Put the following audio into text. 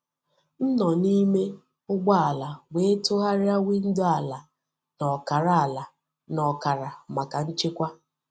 M nọ n’ime ụgbọ ala wee tụgharịa windo ala n’ọkara ala n’ọkara maka nchekwa.